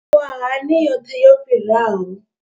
Iyi miṅwahani yoṱhe yo fhiraho.